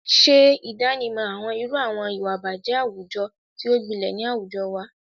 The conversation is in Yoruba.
Ṣe ìdánimọ̀ àwọn irú àwọn ìwà ìbàjẹ́ àwùjọ tí ó gbilẹ̀ ni àwùjọ wa,